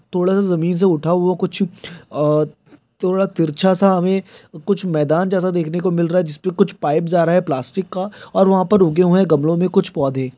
थोड़ा सा जमीन सा उठा हुवा कुछ थोड़ा तिरछा सा हमे कुछ मैदान जैसा देखने को मिल रहा है जिसमे कुछ पाइप्स आ रहा है प्लास्टिक का और उन्मे उगे हुवे है गमलों मे कुछ पौधे ।